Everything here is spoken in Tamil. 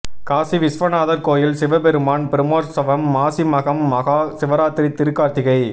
காசி விஸ்வநாதர் கோயில் சிவபெருமான் பிரமோற்சவம் மாசி மகம் மகா சிவராத்திரி திருக்கார்த்திகை